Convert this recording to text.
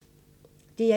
DR1